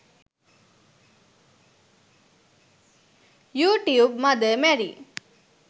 you tube mother Mary